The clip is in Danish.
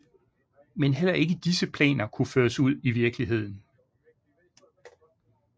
Men heller ikke disse planer kunne føres ud i virkeligheden